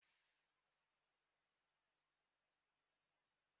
Ihe e ji ekonye akwa nọ na ụlọ ịsa ahụ.